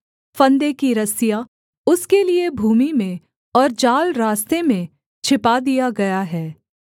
फंदे की रस्सियाँ उसके लिये भूमि में और जाल रास्ते में छिपा दिया गया है